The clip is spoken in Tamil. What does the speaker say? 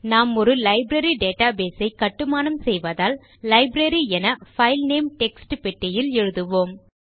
நாம் ஒரு லைப்ரரி டேட்டாபேஸ் ஐ கட்டுமானம் செய்வதால் லைப்ரரி என பைல் நேம் டெக்ஸ்ட் பெட்டியில் எழுதுவோம்